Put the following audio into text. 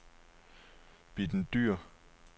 Bitten Dyhr